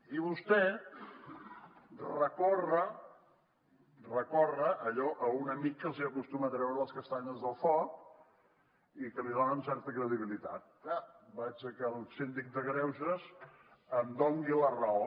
i vostè recorre allò a un amic que els acostuma a treure les castanyes del foc i que els dona certa credibilitat va vaig al síndic de greuges que em doni la raó